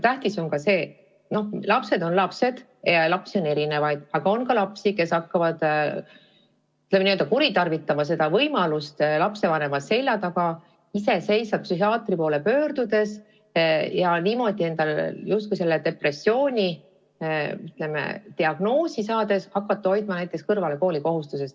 Tähtis on ka see – lapsed on lapsed, lapsi on erinevaid –, et on selliseidki lapsi, kes võivad hakata kuritarvitama võimalust lapsevanema selja taga iseseisvalt psühhiaatri poole pöörduda ja niimoodi endale depressiooni diagnoos saada, et seejärel hakata kõrvale hoidma näiteks koolikohustusest.